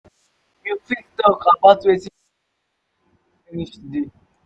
you fit talk about wetin you go like finish today?